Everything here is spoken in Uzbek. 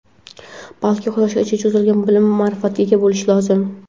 balki Quyoshgacha cho‘zilgan bilim-ma’rifatga ega bo‘lishi lozim.